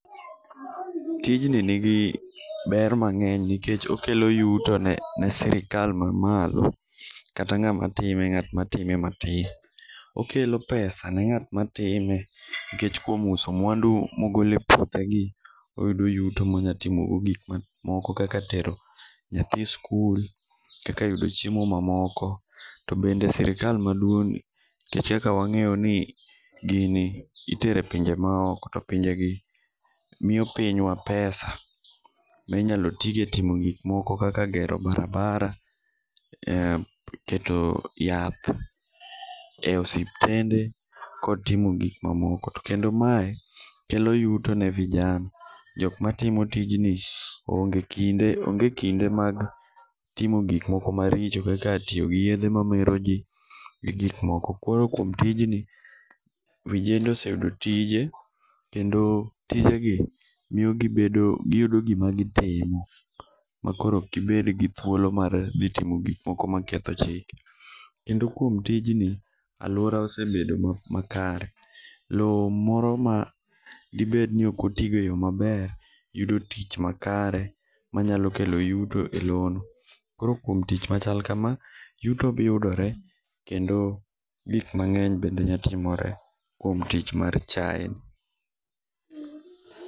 Tijni nigi ber mang'eny nikech okelo yuto ne sirikal mamalo kata ng'ama time, ng'at matime matin. Okelo pesa ne ng'at matime nikech kuom uso mwandu mogolo e puothegi, oyudo yuto monyalo timogo gik moko kaka tero nyathi skul, kaka yudo chiemo mamoko, to bende sirikal maduong' ,nikech ka wang'iyo ni gini itero e pinje maoko, to pinjegi miyo pinywa pesa, be inyalo tigo e timo gikmoko kaka gero barabara, keto yath e osiptende kod timo gik mamoko. To kendo mae kelo yuto ne vijana. Jok matimo tijni onge kinde mag timo gikmoko maricho kaka tiyo gi yedhe mamero ji, gi gik moko. Koro kuom tijni, vijende oseyudo tije, kendo tijegi miyogi giyudo gima gitimo makoro ok gibed gi thuolo mar dhi timo gik moko maketho chik. Kendo kuom tijni, alwora osebedo makare. Lowo moro ma dibed ni ok otigo e yo maber, yudo tich makare manyalo kelo yuto e lowo. Koro kuom tich maka, yuto yudore kendo gik mang'eny bende nya timore kuom tich mar chayeni.